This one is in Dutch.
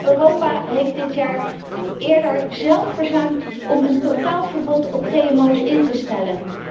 Maar Europa heeft dit jaar eerder zelf verzuimd om een totaal verbod op GGO's in te stellen.